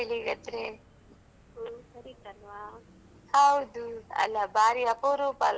ಹೌದು ಅಲಾ ಬಾರಿ ಅಪರೂಪಲ್ವಾ call ಮಾಡುದು ಹಾಗ್ ಗೊತ್ತಾಗ್ತದಾ ಇಲ್ವಾ ಅಂತ್ಹೇಳಿ ನೋಡಿದ್ದು.